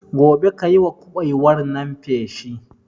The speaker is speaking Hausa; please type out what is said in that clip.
Gobe kayiwa kuɓewar nan feshi